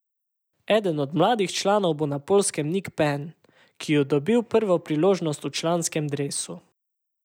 Eden od mladih članov bo na Poljskem Nik Pem, ki ju dobil prvo priložnost v članskem dresu.